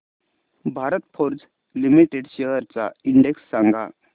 Bharat Forge Limited shares चा index सांगा